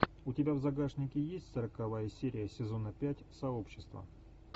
у тебя в загашнике есть сороковая серия сезона пять сообщества